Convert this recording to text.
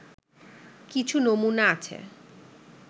কিছু নমুনা আছে